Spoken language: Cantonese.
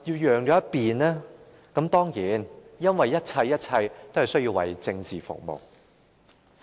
原因是一切都需要為政治服務。